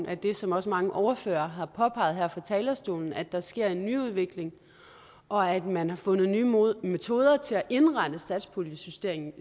af det som også mange ordførere har påpeget her fra talerstolen nemlig at der sker en nyudvikling og at man har fundet nye metoder til at indrette satspuljesystemet